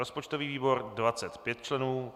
rozpočtový výbor 25 členů